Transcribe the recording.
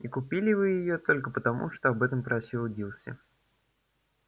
и купили вы её только потому что об этом просила дилси